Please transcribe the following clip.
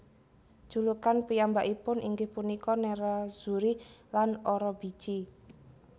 Julukan piyambakipun inggih punika Nerrazzuri lan Orobici